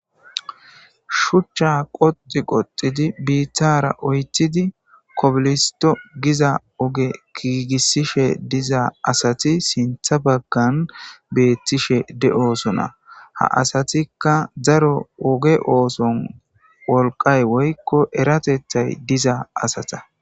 Shuchcha qoxi qoxidi biittara oytidi kopilisto giza oge giigisishe diza asati sintha baggan beettishe de'osona ha asatikka zaro oge ooson wolqay woykko eratethay diza asata